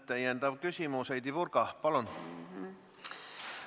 Täpsustav küsimus, Heidy Purga, palun!